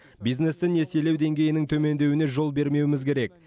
бизнесті несиелеу деңгейінің төмендеуіне жол бермеуіміз керек